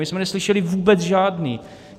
My jsme neslyšeli vůbec žádný.